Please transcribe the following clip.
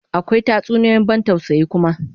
Akwa tatsuniyoyin ban tausayi kuma